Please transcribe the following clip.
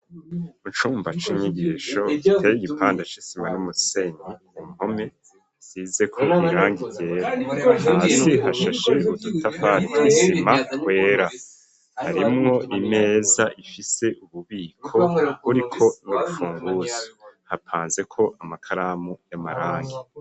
Mu cumba cinyigisho, giteye igipande c'isima n'umusenyi, ku mpome zisize ko birangi ryera ,hasi hashashe ubutafari, isima ryera, harimwo imeza ifise ububiko uriko n'urufunguzo ,hapanze ko amakaramu y'amarangi.